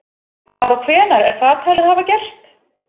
Hvar og hvenær er það talið hafa gerst?